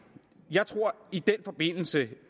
jeg tror i den forbindelse